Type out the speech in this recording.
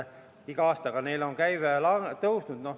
Iga aastaga on neil käive kasvanud.